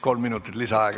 Kolm minutit lisaaega.